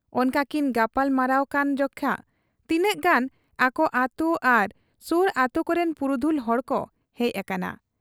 ᱚᱱᱠᱟᱠᱤᱱ ᱜᱟᱯᱟᱞ ᱢᱟᱨᱟᱣᱜ ᱠᱟᱱ ᱡᱮᱠᱷᱟ ᱛᱤᱱᱟᱹᱜ ᱜᱟᱱ ᱟᱠᱚ ᱟᱹᱛᱩ ᱟᱨ ᱥᱩᱨ ᱟᱹᱛᱩ ᱠᱚᱨᱤᱱ ᱯᱩᱨᱩᱫᱷᱩᱞ ᱦᱚᱲᱠᱚ ᱦᱮᱡ ᱟᱠᱟᱱᱟ ᱾